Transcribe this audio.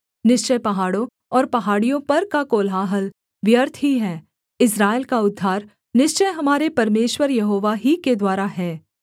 निश्चय पहाड़ों और पहाड़ियों पर का कोलाहल व्यर्थ ही है इस्राएल का उद्धार निश्चय हमारे परमेश्वर यहोवा ही के द्वारा है